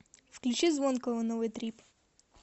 включи звонкого новый трип